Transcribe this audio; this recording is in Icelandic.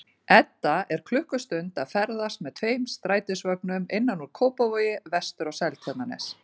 Edda er klukkustund að ferðast með tveim strætisvögnum innan úr Kópavogi vestur á Seltjarnarnes.